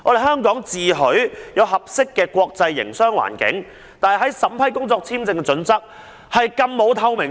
香港自詡具備合適的國際營商環境，但審批工作簽證的準則卻極欠透明度。